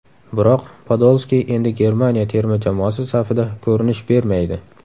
Biroq Podolski endi Germaniya terma jamoasi safida ko‘rinish bermaydi.